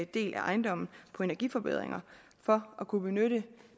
del af ejendommen på energiforbedringer for at kunne benytte